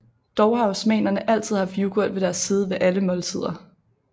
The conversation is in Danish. Dog har osmanerne altid haft yoghurt ved deres side ved alle måltider